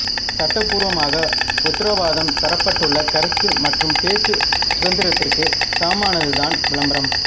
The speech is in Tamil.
சட்டபூர்வமாக உத்தரவாதம் தரப்பட்டுள்ள கருத்து மற்றும் பேச்சு சுதந்திரத்திற்கு சமமானதுதான் விளம்பரம்